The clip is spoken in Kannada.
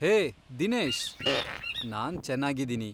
ಹೇ, ದಿನೇಶ್! ನಾನ್ ಚೆನ್ನಾಗಿದೀನಿ.